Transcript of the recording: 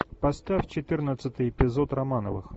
поставь четырнадцатый эпизод романовых